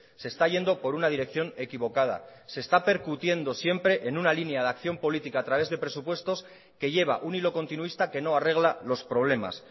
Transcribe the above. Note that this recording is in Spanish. se está yendo por una dirección equivocada se está percutiendo siempre en una línea de acción política a través de presupuestos que lleva un hilo continuista que no arregla los problemas